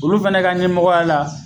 Olu fɛnɛ ka ɲɛmɔgɔya la